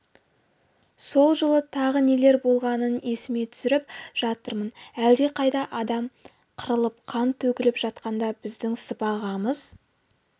сол жылы тағы нелер болғанын есіме түсіріп жатырмын әлдеқайда адам қырылып қан төгіліп жатқанда біздің сыбағамыз